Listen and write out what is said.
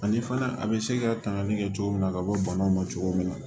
Ani fana a bɛ se ka tangali kɛ cogo min na ka bɔ banaw ma cogo min na